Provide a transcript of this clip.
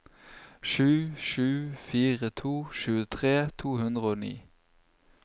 sju sju fire to tjuetre to hundre og ni